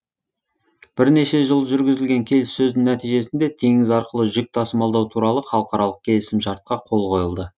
бірнеше жыл жүргізілген келіссөздің нәтижесінде теңіз арқылы жүк тасымалдау туралы халықаралық келісімшартқа қол қойылды